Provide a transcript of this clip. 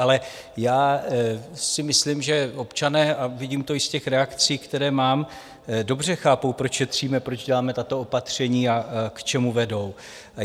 Ale já si myslím, že občané - a vidím to i z těch reakcí, které mám - dobře chápou, proč šetříme, proč děláme tato opatření a k čemu vedou.